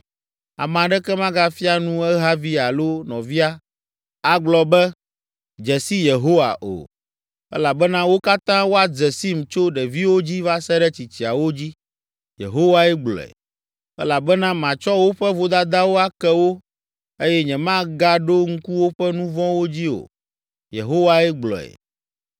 Ame aɖeke magafia nu ehavi alo nɔvia agblɔ be, ‘Dze si Yehowa’ o, elabena wo katã woadze sim tso ɖeviwo dzi va se ɖe tsitsiawo dzi,” Yehowae gblɔe. “Elabena matsɔ woƒe vodadawo ake wo eye nyemagaɖo ŋku woƒe nu vɔ̃wo dzi o.” Yehowae gblɔe.